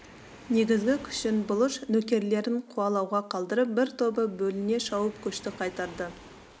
негізгі күшін бұлыш нөкерлерін қуалауға қалдырып бір тобы бөліне шауып көшті қайтарды